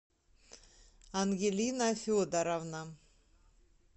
ангелина федоровна